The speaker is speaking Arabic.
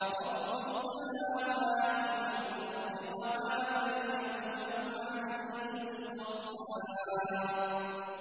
رَبُّ السَّمَاوَاتِ وَالْأَرْضِ وَمَا بَيْنَهُمَا الْعَزِيزُ الْغَفَّارُ